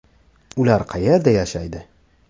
Ular qayerda yashaydi?